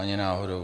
Ani náhodou.